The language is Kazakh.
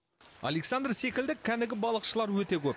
александр секілді кәнігі балықшылар өте көп